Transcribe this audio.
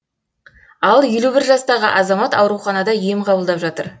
ал елу бір жастағы азамат ауруханада ем қабылдап жатыр